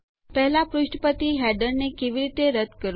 પહેલા પુષ્ઠ પરથી કેવી રીતે હેડરો રદ્દ કરવા